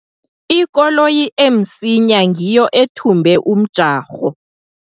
Ikoloyi emsinya ngiyo ethumbe umjarho.